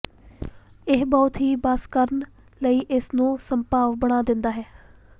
ਇਹ ਬਹੁਤ ਹੀ ਬਸ ਕਰਨ ਲਈ ਇਸ ਨੂੰ ਸੰਭਵ ਬਣਾ ਦਿੰਦਾ ਹੈ